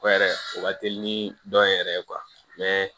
O yɛrɛ o ka teli ni dɔn yɛrɛ ye